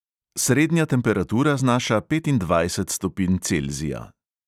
Srednja temperatura znaša petindvajset stopinj celzija.